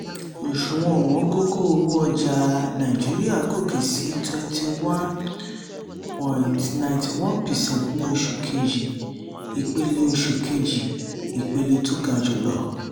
òṣùwọ̀n ọ̀wọ́ngógó owó ọjà nàìjíríà gòkè sí twenty one point nine one percent ní oṣù kejì ipele oṣù kejì ipele tó ga jùlọ.